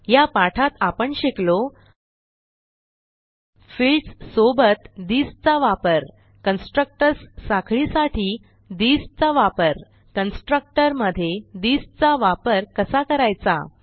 या पाठात आपण शिकलो फील्ड्स सोबत थिस चा वापर कन्स्ट्रक्टर्स साखळीसाठी थिस चा वापर कन्स्ट्रक्टर मधे थिस चा वापर कसा करायचा